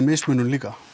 mismunun líka